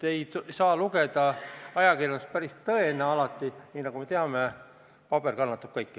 Ei saa ajakirjandust alati päris tõena võtta – nagu me teame, paber kannatab kõike.